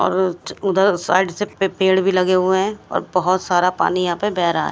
और च उधर साइड से पे पेड़ भी लगे हुए है और बहोत सारा पानी यहां पे बेह रहा है।